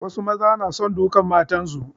Wasu maza na son dukan matansu.